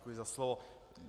Děkuji za slovo.